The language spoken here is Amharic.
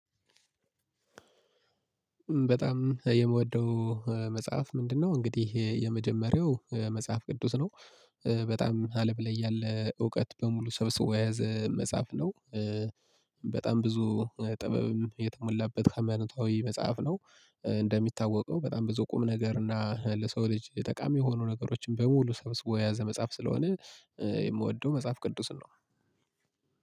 በጣም የምወደው መጽሐፍ ምንድነው? እንግዲህ የመጀመሪያው መጽሐፍ ቅዱስ ነው በጣም አለም ላይ ያለ እውቀት በሙሉ ሰብስቦ የያዘ መጽሐፍ ነው በጣም ብዙ ጥበብም የተሞላበት ሃይማኖታዊ መጽሐፍ ነው እንደሚታወቀው በጣም ብዙ ቁም ነገር እና ለሰው ልጅ ጠቃሚ የሆኑ ነገሮችን በሙሉ ሰብስቦ የያዘ መጽሐፍ ስለሆነ የምወደው መጽሐፍ ቅዱስን ነው